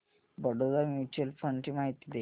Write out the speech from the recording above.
Baroda mutual fund ची माहिती दे